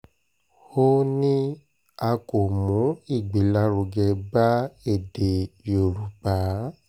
ó um ní a kò mú ìgbélárugẹ bá èdè yorùbá